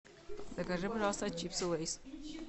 закажи пожалуйста чипсы лейс